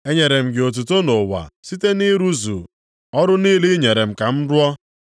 Enyere m gị otuto nʼụwa site nʼịrụzu ọrụ niile ị nyere m ka m rụọ.